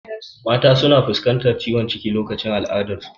Mata na fuskantar ciwon ciki lokacin al'adar su